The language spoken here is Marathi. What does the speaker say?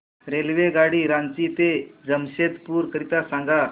रेल्वेगाडी रांची ते जमशेदपूर करीता सांगा